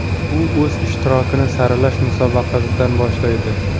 U o‘z ishtirokini saralash musobaqasidan boshlaydi.